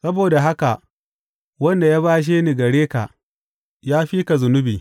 Saboda haka wanda ya bashe ni gare ka, ya fi na zunubi.